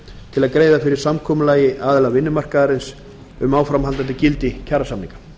til að greiða fyrir samkomulagi aðila vinnumarkaðarins um áframhaldandi gildi kjarasamninga